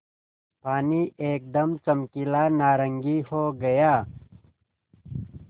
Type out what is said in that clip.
पानी एकदम चमकीला नारंगी हो गया